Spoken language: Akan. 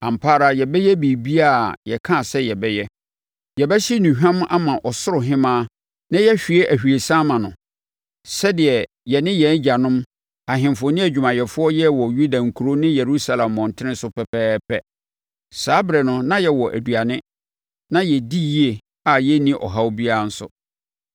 Ampa ara yɛbɛyɛ biribiara a yɛkaa sɛ yɛbɛyɛ: Yɛbɛhye nnuhwam ama Ɔsoro Hemmaa na yɛahwie ahwiesa ama no, sɛdeɛ yɛ ne yɛn agyanom, ahemfo ne adwumayɛfoɔ yɛɛ wɔ Yuda nkuro ne Yerusalem mmɔntene so pɛpɛɛpɛ. Saa ɛberɛ no na yɛwɔ aduane, na yɛdi yie a yɛnni ɔhaw biara nso.